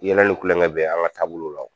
Yɛlɛ ni kulonkɛ bɛ an ka taabolow la wo.